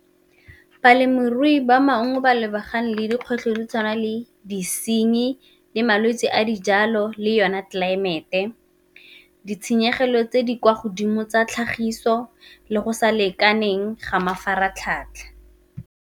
Balemirui ba maungo ba lebagane le dikgwetlho di tshwana le disenyi le malwetsi a dijalo le yone tlelaemete, ditshenyegelo tse di kwa godimo tsa tlhagiso, le go sa lekaneng ga mafaratlhatlha.